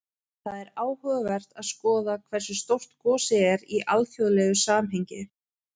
Það er áhugavert að skoða hversu stórt gosið er í alþjóðlegu samhengi.